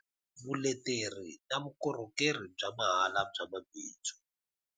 Vuleteri na vukorhokeri bya mahala bya mabindzu.